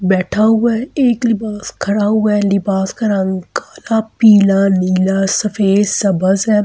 बैठा हुआ है। एक लिबास खड़ा हुआ है। एक लिबास का रंग काला पीला नीला सफेद सबसे --